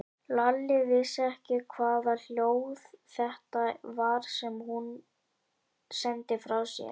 Lalli vissi ekki hvaða hljóð þetta var sem hún sendi frá sér.